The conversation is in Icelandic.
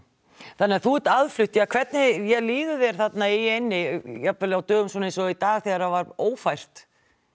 þannig þú ert aðflutt hvernig líður þér þarna í eynni jafnvel á dögum svona eins og í dag þegar það var ófært